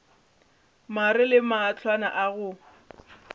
mare le mahlwana a go